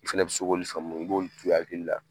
I fana bɛ se k'olu faamu i b'olu to i hakili la.